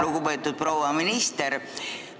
Lugupeetud proua minister!